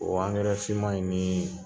O angɛrɛ fiman in nii